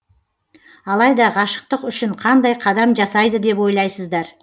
алайда ғашықтық үшін қандай қадам жасайды деп ойлайсыздар